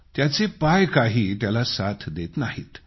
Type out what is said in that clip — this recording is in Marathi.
त्याचे पाय काही त्याला साथ देत नाहीत